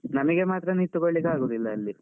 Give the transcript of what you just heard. ನಮಗೆ ಮಾತ್ರ ನಿಂತ್ಕೊಳ್ಳಿಕ್ಕೆ ಆಗುದಿಲ್ಲ ಅಲ್ಲಿ.